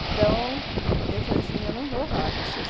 Então, eu falei assim, eu não vou falar besteira.